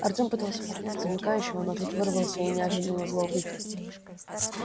артём попытался поднять замыкающего но тот вырвался и неожиданно зло выкрикнул